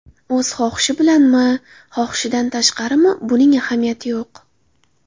O‘z xohishi bilanmi, xohishidan tashqarimi, buning ahamiyati yo‘q.